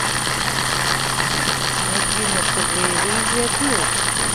найди на тв иллюзия плюс